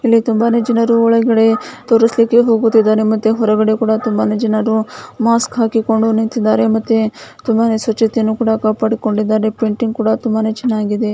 ಇಲ್ಲಿ ತುಂಬಾನೆ ಜನರು ಒಳಗೆ ಥೋರ್ಸ್ಲಿಕ್ಕೆ ಹೋಗುದಿದರೆ ಮತ್ತೆ ಹೊರಗಡೆ ಕೂಡಾ ತುಂಬಾನೇ ಜನರು ಮಾಸ್ಕಾ ಹಾಕಿಕೊಂಡು ನಿಂತ್ಕೊಂಡಿದ್ದಾರೆ ಮತ್ತೆ ತುಂಬಾ ಸ್ವಚ್ಛತೆಯನ್ನ ಕಾಪಾಡ್ಕೊಂಡಿದ್ದಾರೆ ಮತ್ತೆ ಪೇಂಟಿಂಗ್ ಕೂಡ ತುಂಬಾನೇ ಚೆನ್ನಾಗಿದೆ.